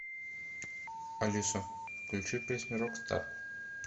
алиса включи песню рокстар